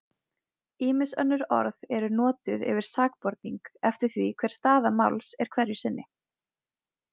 Ýmis önnur orð eru notuð yfir sakborning eftir því hver staða máls er hverju sinni.